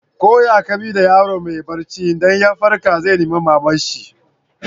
Ko ya ka bi da yaro mai barci, idan ya farka zai nima mama'n shi.